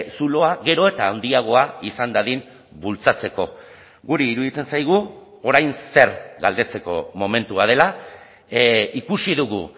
zuloa gero eta handiagoa izan dadin bultzatzeko guri iruditzen zaigu orain zer galdetzeko momentua dela ikusi dugu